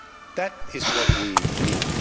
That is what we need.